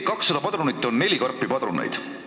200 padrunit on neli karpi padruneid.